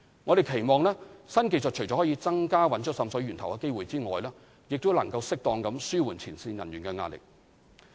我們期望，新技術除可增加找出滲水源頭的機會外，亦能適當地紓緩前線人員的壓力。